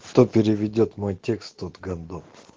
кто переведёт мой текст тот гандон